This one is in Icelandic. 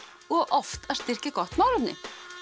og oft að styrkja gott málefni